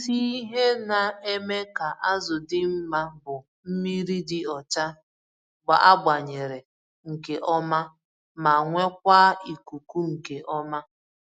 Isi ihe na-eme ka azụ dị mma bụ mmírí dị ọcha agbanyere nke ọma, ma nwekwaa ikuku nke ọma.